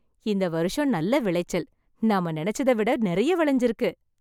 இந்த வருஷம் நல்ல விளைச்சல், நம்ம நினைச்சதை விட நிறைய விளைஞ்சு இருக்கு.